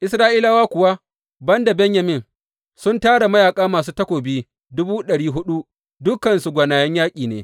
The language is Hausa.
Isra’ila kuwa, ban da Benyamin, sun tara mayaƙa masu takobi dubu ɗari huɗu, dukansu gwanayen yaƙi ne.